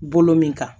Bolo min kan